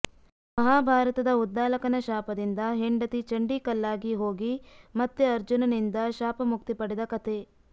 ಮಹಾಭಾರತದ ಉದ್ದಾಲಕನ ಶಾಪದಿಂದ ಹೆಂಡತಿ ಚಂಡಿ ಕಲ್ಲಾಗಿ ಹೋಗಿ ಮತ್ತೆ ಅರ್ಜುನ ನಿಂದ ಶಾಪ ಮುಕ್ತಿ ಪಡೆದ ಕಥೆ